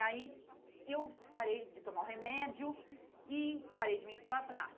E aí, eu parei de tomar o remédio e parei de menstruar e falei, ah,